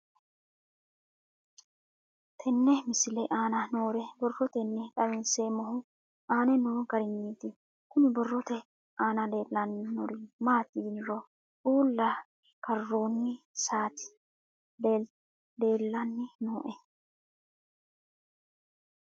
Tenne misile aana noore borroteni xawiseemohu aane noo gariniiti. Kunni borrote aana leelanori maati yiniro Uula karoonni saati leelanni nooe.